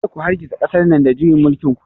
Kada ku hargitsa ƙasar nan da juyin mulkin ku!